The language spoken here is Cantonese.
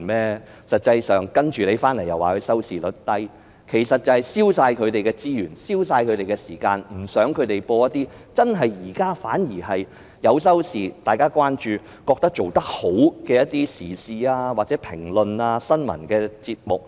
然後又說港台的收視率低，其實只是要消除港台的所有資源和時間，不想港台播放一些現在收視理想、大家關注並且認為做得好的時事評論和新聞節目而已。